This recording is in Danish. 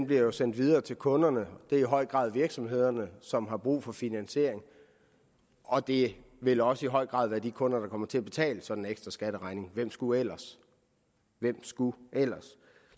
bliver jo sendt videre til kunderne og det er i høj grad virksomhederne som har brug for finansiering og det vil også i høj grad være de kunder der kommer til at betale sådan en ekstra skatteregning hvem skulle ellers hvem skulle ellers